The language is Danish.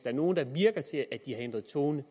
er nogen der virker til at have ændret tone